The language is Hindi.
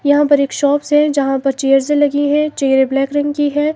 यहां पर एक शॉप्स है यहां पर चेयर्स लगी हैं चेयर ब्लैक रंग की है।